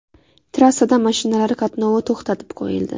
Trassada mashinalar qatnovi to‘xtatib qo‘yildi.